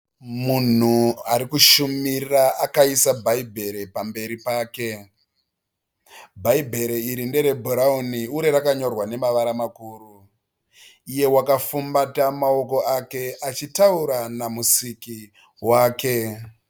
Munhu ari kushumira akaisa bhaibheri pamberi pake. Bhaibheri iri nderebhurauni uye rakanyorwa nemavara makuru. Iye wakafumbata maoko ake achitaura namusiki wake.